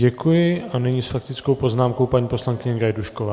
Děkuji a nyní s faktickou poznámkou paní poslankyně Gajdůšková.